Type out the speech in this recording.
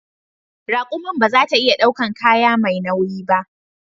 Rakumin ba za ta iya daukan kaya mai nauyi ba